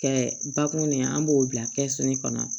Kɛ bakun de ye an b'o bila kɛsu kɔnɔ